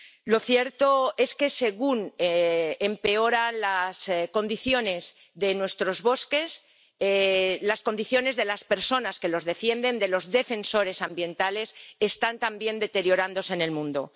Lo cierto es que según empeoran las condiciones de nuestros bosques, las condiciones de las personas que los defienden, de los defensores ambientales, están también deteriorándose en el mundo.